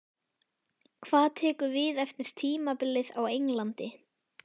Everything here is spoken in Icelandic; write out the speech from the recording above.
Hvað tekur við eftir tímabilið á Englandi?